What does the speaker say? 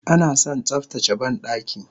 Anason tsaftace bandaki